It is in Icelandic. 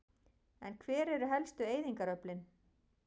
En hver eru helstu eyðingaröflin?